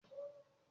Ọmọlanke wà fún ẹrù.